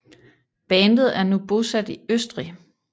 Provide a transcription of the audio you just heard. Bandet er nu bosat i Østrig